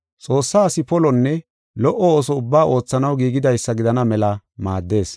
Xoossaa asi polonne lo77o ooso ubbaa oothanaw giigidaysa gidana mela maaddees.